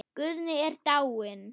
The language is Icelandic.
Guðni er dáinn.